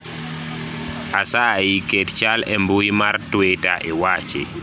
asayi ket chal e mbui mar twita iwachi